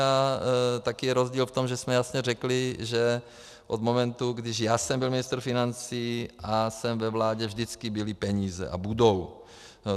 A taky je rozdíl v tom, že jsme jasně řekli, že od momentu, když já jsem byl ministr financí a jsem ve vládě, vždycky byly peníze a budou.